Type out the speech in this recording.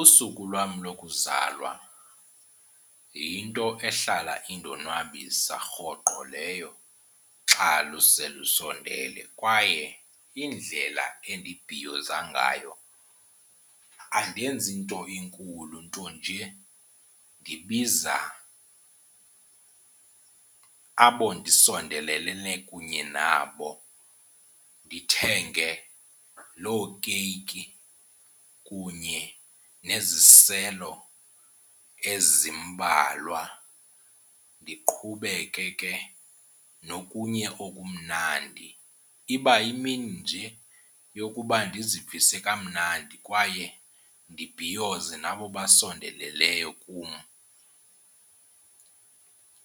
Usuku lwam lokuzalwa yinto ehlala indonwabisa rhoqo leyo xa luse lusondele. Kwaye indlela endibhiyoza ngayo andenzi nto inkulu ntonje ndibiza abo ndisondelelene kunye nabo. Ndithenge loo keyiki kunye neziselo ezimbalwa, ndiqhubeke ke nokunye okumnandi. Iba yimini nje yokuba ndizivise kamnandi kwaye ndibhiyoze nabo basondeleleyo kum,